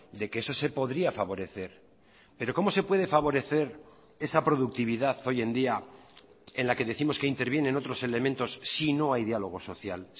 de que eso se podría favorecer pero cómo se puede favorecer esa productividad hoy en día en la que décimos que intervienen otros elementos si no hay diálogo social